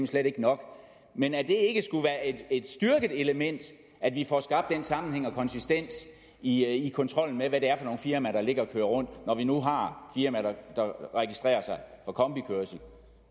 slet ikke nok men at det ikke skulle være et styrket element at vi får skabt den sammenhæng og konsistens i i kontrollen med hvad det er for nogle firmaer der ligger og kører rundt når vi nu har firmaer der registrerer sig for kombikørsel